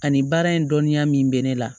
Ani baara in dɔnniya min bɛ ne la